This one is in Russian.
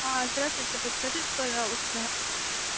а здравствуйте подскажите пожалуйста